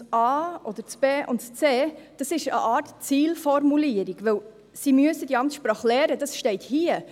Demgegenüber bilden a oder b und c eine Art Zielformulierung, denn sie müssen diese Amtssprache lernen, das steht hier.